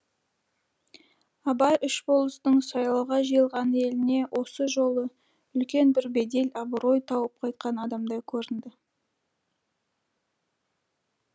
абай үш болыстың сайлауға жиылған еліне осы жолы үлкен бір бедел абырой тауып қайтқан адамдай көрінді